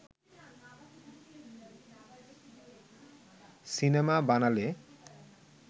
cinema বানালে